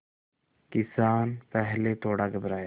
किसान पहले थोड़ा घबराया